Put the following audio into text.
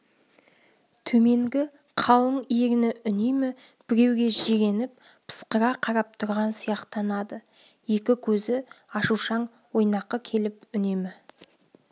төменгі қалың ерні үнемі біреуге жиреніп пысқыра қарап тұрған сияқтанады екі көзі ашушаң ойнақы келіп үнемі